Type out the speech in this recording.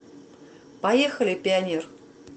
поехали пионер